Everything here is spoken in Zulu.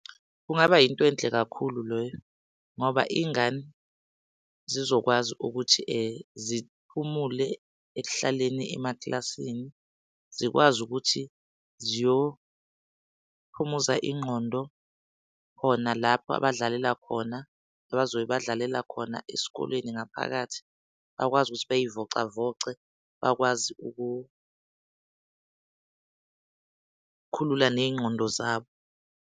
Kungaba yinto enhle kakhulu loyo ngoba iy'ngane zizokwazi ukuthi ziphumule ekuhlaleni emaklasini. Zikwazi ukuthi ziyophumuza ingqondo khona lapho abadlalela khona, abazobe badlalela khona esikoleni ngaphakathi bakwazi ukuthi beyivocavoce, bakwazi uku khulula ney'ngqondo zabo.